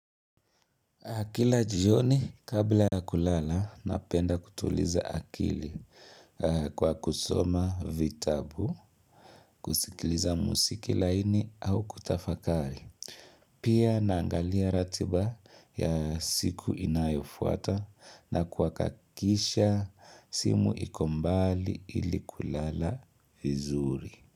Kila jioni kabla kulala napenda kutuliza akili kwa kusoma vitabu, kusikiliza musiki laini au kutafakari. Pia naangalia ratiba ya siku inayofuata na kwa kakisha simu iko mbali ili kulala vizuri.